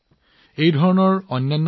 মই ইয়াত কেইটামান প্ৰচেষ্টাৰ কথা কৈছো